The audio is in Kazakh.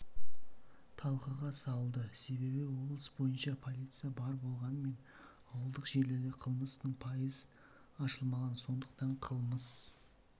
талқыға салды себебі облыс бойынша полиция бар болғанымен ауылдық жерлерде қылмыстың пайыз ашылмаған сондықтан қылмыс